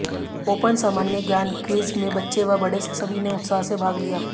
open सामान्य ज्ञान quiz में बच्चे व बड़े सभी ने उत्साह से भाग लिया